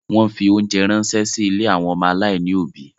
Wọ́n fi óńjẹ ránṣẹ́ sí ilé àwọn ọmọ aláìní òbí.